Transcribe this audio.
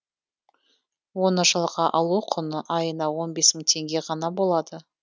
оны жалға алу құны айына он бес мың теңге ғана болады